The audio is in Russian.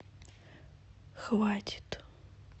хватит